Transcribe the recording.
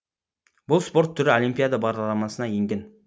бұл спорт түрі олимпиада бағдарламасына енген